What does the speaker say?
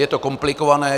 Je to komplikované.